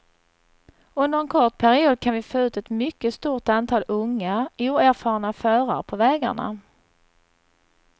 Under en kort period kan vi få ut ett mycket stort antal unga, oerfarna förare på vägarna.